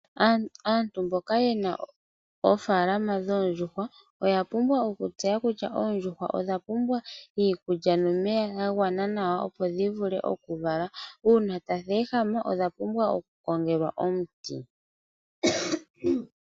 Aantu mboka yena oofaalama dhoondjuhwa oya pumbwa okutseya kutya oondjuhwa odha pumbwa iikulya nomeya ga gwana nawa opo dhi vule oku vala . Uuna tadhi ehama odha pumbwa oku kongelwa omuti .